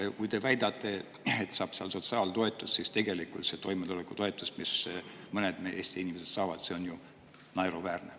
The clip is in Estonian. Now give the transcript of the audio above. Sest kui te väidate, et inimesed saavad sotsiaaltoetust, siis tegelikult see toimetulekutoetus, mida mõned Eesti inimesed saavad, on ju naeruväärne.